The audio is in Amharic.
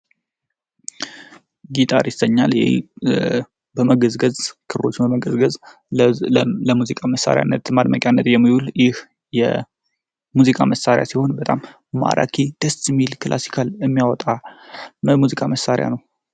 ጊታር ይሰኛል ይህ ክሮችን በመገዝገዝ ለሙዚቃ መሳሪያነት ማድመቂ የሚውል ይህ የሙዚቃ መሳሪያ ሲሆን በጣም ደስ የሚል ክላሲካል የሚያወጣ የሙዚቃ መሳሪያ ነው።